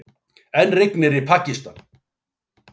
Enn rignir í Pakistan